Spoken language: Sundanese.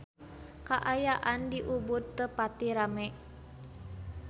Kaayaan di Ubud teu pati rame